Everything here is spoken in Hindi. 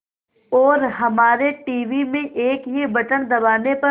और हमारे टीवी में एक ही बटन दबाने पर